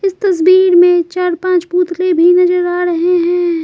इस तस्वीर में चार-पांच पुतले भी नजर आ रहे हैं।